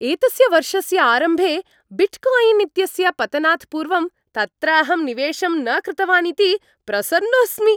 एतस्य वर्षस्य आरम्भे बिट्कायिन् इत्यस्य पतनात् पूर्वं तत्र अहं निवेशं न कृतवान् इति प्रसन्नोऽस्मि।